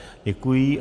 Děkuji.